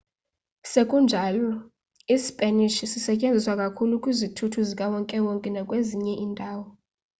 sekunjalo ispanish sisetyenziswa kakhulu kwizithuthi zikawonke-wonke nakwezinye iindawo